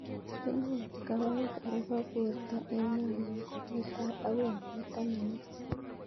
Kinae kawaik ab porto eng' arewt netai akoi nepo taman ak sisit